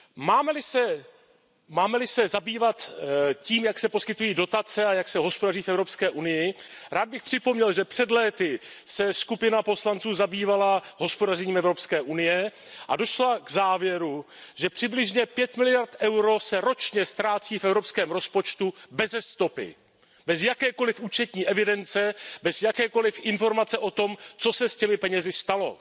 Máme li se zabývat tím, jak se poskytují dotace a jak se hospodaří v Evropské unii, rád bych připomněl, že před léty se skupina poslanců zabývala hospodařením Evropské unie a došla k závěru, že přibližně 5 miliard EUR se ročně ztrácí v evropském rozpočtu beze stopy, bez jakékoliv účetní evidence, bez jakékoliv informace o tom, co se s těmi penězi stalo.